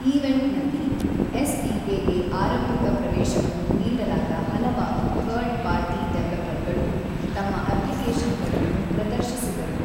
ಈವೆಂಟ್‌ನಲ್ಲಿ, SDK. ಗೆ ಆರಂಭಿಕ ಪ್ರವೇಶವನ್ನು ನೀಡಲಾದ ಹಲವಾರು ಥರ್ಡ್-ಪಾರ್ಟಿ ಡೆವಲಪರ್‌ಗಳು ತಮ್ಮ ಅಪ್ಲಿಕೇಶನ್‌ಗಳನ್ನು ಪ್ರದರ್ಶಿಸಿದರು.